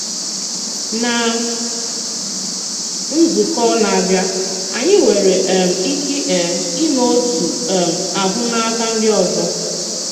Ná nzukọ́ na-abịá, anyị nwère um ike um ime otú um ahụ́ n’akà ndị ọzọ́.